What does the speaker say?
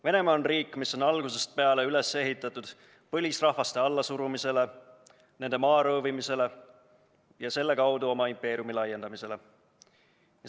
Venemaa on riik, mis on algusest peale üles ehitatud põlisrahvaste allasurumisele, nende maa röövimisele ja selle kaudu oma impeeriumi laiendamisele.